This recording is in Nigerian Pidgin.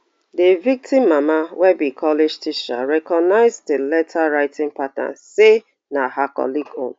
di victim mama wey be college teacher recognise di letter writing pattern say na her colleague own